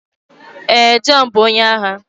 Ee, Jọhn bụ onye agha.